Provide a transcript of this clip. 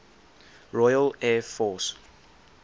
royal air force